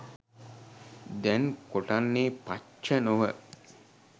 දැන් කොටන්නේ පච්ච නො ව